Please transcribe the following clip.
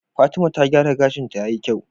Fatima ta gyara gashin ta yayi kyau